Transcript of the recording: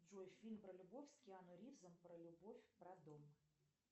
джой фильм про любовь с киану ривзом про любовь про дом